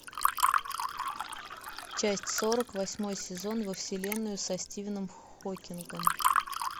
часть сорок восьмой сезон во вселенную со стивеном хокингом